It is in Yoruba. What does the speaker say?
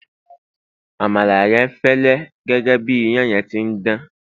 àmàlà yen fẹlẹ gẹgẹ bi iyan yen ti n Dan